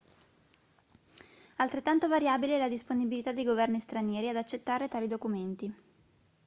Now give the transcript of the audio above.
altrettanto variabile è la disponibilità dei governi stranieri ad accettare tali documenti